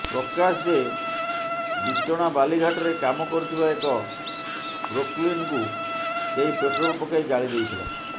ପ୍ରକାଶ ଯେ ବିଚଣା ବାଲିଘାଟରେ କାମ କରୁଥିବା ଏକ ପ୍ରୋକଲିନ୍କୁ କେହି ପେଟ୍ରୋଲ ପକାଇ ଜାଳିଦେଇଥିଲା